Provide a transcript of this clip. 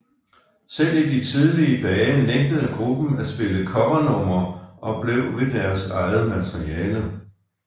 Selv i de tidlige dage nægtede gruppen at spille covernumre og blev ved deres eget materiale